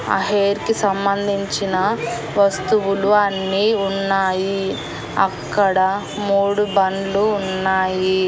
ఆ హేర్ కి సంబంధించిన వస్తువులు అన్నీ ఉన్నాయి అక్కడ మూడు బండ్లు ఉన్నాయి.